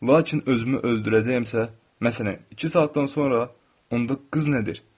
Lakin özümü öldürəcəyəmsə, məsələn, iki saatdan sonra, onda qız nədir?